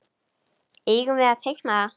Eigum við að teikna það?